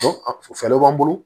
Fɛɛrɛ b'an bolo